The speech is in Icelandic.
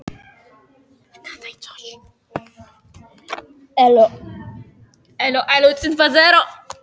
Annar af uppáhaldsstöðum Vésteins í þessum garði.